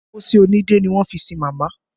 Pósí onídẹ́ ni wọ́n fi sin màmá